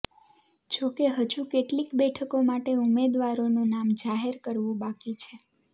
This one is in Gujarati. જો કે હજુ કેટલીક બેઠકો માટે ઉમેદવારોનું નામ જાહેર કરવું બાકી છે